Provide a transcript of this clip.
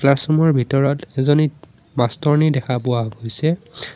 Classroom ৰ ভিতৰত এজনী মাষ্টৰ নী দেখা পোৱা গৈছে।